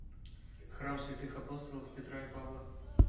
храм святых апостолов петра и павла